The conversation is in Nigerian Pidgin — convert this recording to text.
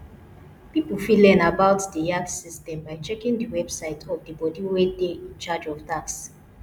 pipo fit learn about di yax system by checking di website of di body wey dey in charge of tax